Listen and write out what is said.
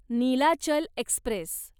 Nilachal Express